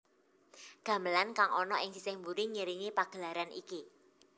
Gamelan kang ana ing sisih mburi ngiringi pagelaran iki